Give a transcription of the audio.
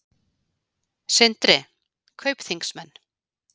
Sindri: Kaupþingsmenn?